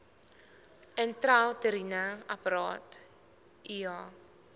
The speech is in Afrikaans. intrauteriene apparaat iua